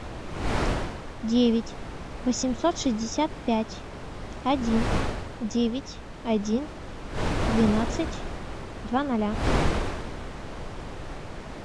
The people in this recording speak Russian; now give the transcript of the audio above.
девять восемьсот шестьдесят пять один девять один двенадцать два ноля